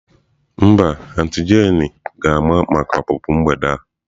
Mba, auntie jane ga-ama maka ọpụpụ mgbede a.